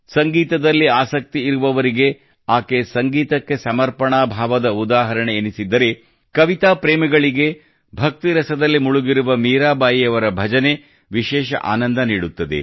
ಸಂಗೀತದಲ್ಲಿ ಆಸಕ್ತಿಯಿರುವವರಿಗೆ ಆಕೆ ಸಂಗೀತಕ್ಕೆ ಸಮರ್ಪಣಾ ಭಾವದ ಉದಾಹರಣೆಯೆನಿಸಿದ್ದರೆ ಕವಿತಾ ಪ್ರೇಮಿಗಳಿಗೆ ಭಕ್ತಿರಸದಲ್ಲಿ ಮುಳುಗಿರುವ ಮೀರಾಬಾಯಿಯವರ ಭಜನೆಯು ವಿಶೇಷ ಆನಂದ ನೀಡುತ್ತದೆ